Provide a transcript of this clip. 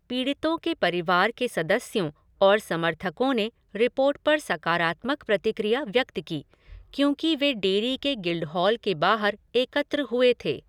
पीड़ितों के परिवार के सदस्यों और समर्थकों ने रिपोर्ट पर सकारात्मक प्रतिक्रिया व्यक्त की, क्योंकि वे डेरी में गिल्डहॉल के बाहर एकत्र हुए थे।